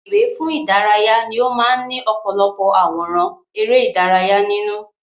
Ìwé fún ìdárayá ni ó máa ń ní ọ̀pọ̀lọpọ̀ àwòrán ère ìdárayá nínú